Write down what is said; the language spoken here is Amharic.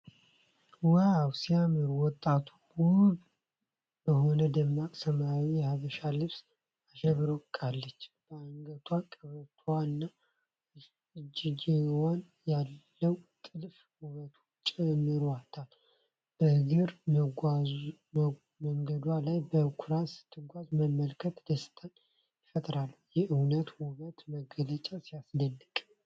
ዋው ሲያምር! ወጣቷ ውብ በሆነ ደማቅ ሰማያዊ የሀበሻ ልብስ አሸብርቃለች። በአንገቷ፣ ቀበቶዋና እጅጌዋ ያለው ጥልፍ ውበቱን ጨምሮታል። በእግረ መንገዷ ላይ በኩራት ስትጓዝ መመልከት ደስታን ይፈጥራል። የእውነተኛ ውበት መገለጫ ሲያስደንቅ!